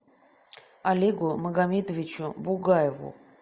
олегу магомедовичу бугаеву